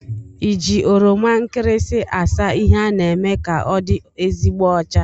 Iji oroma nkịrịsị asa ihe a na-eme ka ọdị ezigbo ọcha?